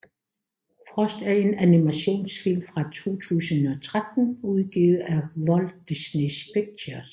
Frost er en animationsfilm fra 2013 udgivet af Walt Disney Pictures